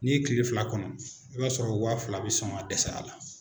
N'i ye kiile fila kɔnɔ, i b'a sɔrɔ waa fila bɛ sɔn ka dɛsɛ a la.